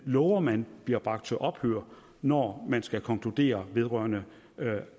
lover man bliver bragt til ophør når man skal konkludere vedrørende